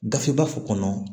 Gafe ba kɔnɔ